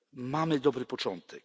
Mamy dobry początek.